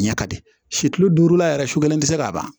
Ɲɛ ka di si kilo duuru la yɛrɛ su kelen tɛ se k'a ban